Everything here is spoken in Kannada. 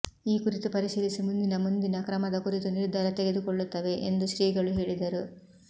ಈ ಕುರಿತು ಪರಿಶೀಲಿಸಿ ಮುಂದಿನ ಮುಂದಿನ ಕ್ರಮದ ಕುರಿತು ನಿರ್ಧಾರ ತೆಗೆದುಕೊಳ್ಳುತ್ತವೆ ಎಂದು ಶ್ರೀಗಳು ಹೇಳಿದರು